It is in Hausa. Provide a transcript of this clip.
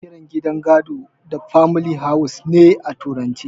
Ana kiran gidan gado da famili haus ne a turance